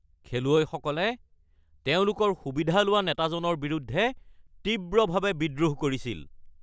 খেলুৱৈসকলে তেওঁলোকৰ সুবিধা লোৱা নেতাজনৰ বিৰুদ্ধে তীব্ৰভাৱে বিদ্ৰোহ কৰিছিল।